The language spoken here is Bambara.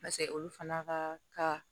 Paseke olu fana ka ka